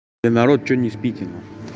эй народ что не спите на хуй